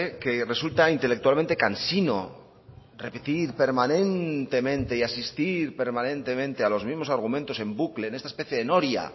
que resulta intelectualmente cansino repetir permanentemente y asistir permanentemente a los mismos argumentos en bucle en esta especie de noria